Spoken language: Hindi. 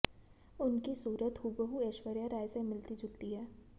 उनकी सूरत हूबहू ऐश्वर्या राय से मिलती जुलती है